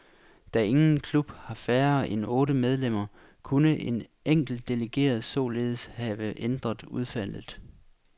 Da ingen ingen klub har færre end otte medlemmer, kunne en enkelt delegeret således have ændret udfaldet.